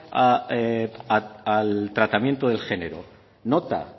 al tratamiento de género nota